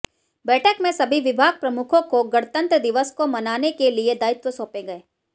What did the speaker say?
बैठक में सभी विभाग प्रमुखों को गणतंत्र दिवस को मनाने के लिए दायित्व सौपे गये